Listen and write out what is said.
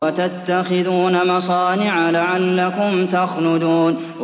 وَتَتَّخِذُونَ مَصَانِعَ لَعَلَّكُمْ تَخْلُدُونَ